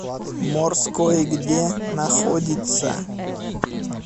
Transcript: морской где находится